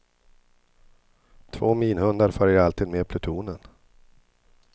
Två minhundar följer alltid med plutonen.